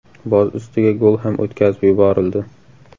Boz ustiga gol ham o‘tkazib yuborildi.